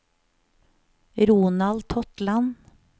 Ronald Totland